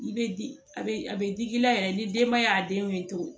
I bɛ di a bɛ a bɛ digi i la yɛrɛ ni denbaya denw ye tugun